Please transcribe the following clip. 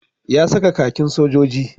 Ya sa kakin sojoji